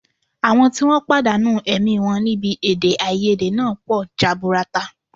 Àwọn tí wọ́n pàdánù ẹ̀mí wọn níbi èdèàìyedè náà pọ̀ jaburata